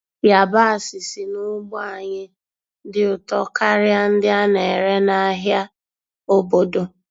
Yabasị si n'ugbo anyị dị ụtọ karịa ndị a na-ere n'ahịa obodo.